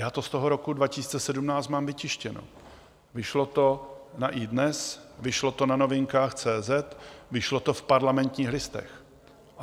Já to z toho roku 2017 mám vytištěno, vyšlo to na iDnes, vyšlo to na Novinkách.cz, vyšlo v Parlamentních listech.